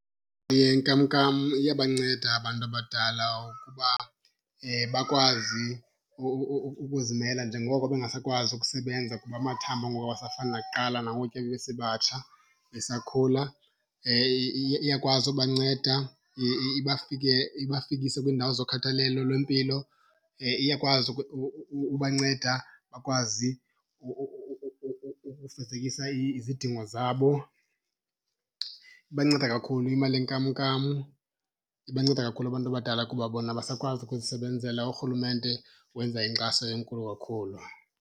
Yenkamnkam iyabanceda abantu abadala ukuba bakwazi ukuzimela njengoko bengasakwazi ukusebenza kuba amathambo ngoku awasafani nakuqala nangokuya babesebatsha besakhula. Iyakwazi ubanceda ibafikise kwiindawo zokhathalelo lwempilo, iyakwazi ubanceda bakwazi ukufezekisa izidingo zabo. Ibanceda kakhulu imali yenkamnkam, ibanceda kakhulu abantu abadala kuba bona abasakwazi ukuzisebenzela. Urhulumente wenza inkxaso enkulu kakhulu.